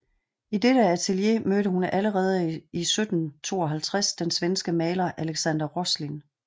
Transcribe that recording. I dette atelier mødte hun allerede i 1752 den svenske maler Alexander Roslin